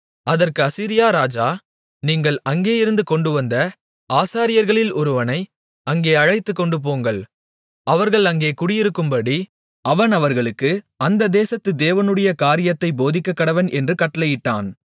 அதற்கு அசீரியா ராஜா நீங்கள் அங்கேயிருந்து கொண்டுவந்த ஆசாரியர்களில் ஒருவனை அங்கே அழைத்துக்கொண்டுபோங்கள் அவர்கள் அங்கே குடியிருக்கும்படி அவன் அவர்களுக்கு அந்த தேசத்து தேவனுடைய காரியத்தைப் போதிக்கக்கடவன் என்று கட்டளையிட்டான்